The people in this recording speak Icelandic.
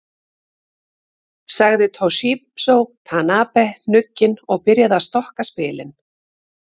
Sagði Toshizo Tanabe hnugginn og byrjaði að stokka spilin.